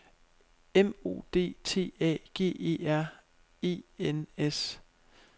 M O D T A G E R E N S